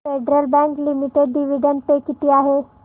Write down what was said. federal bank limited dividend pay किती आहे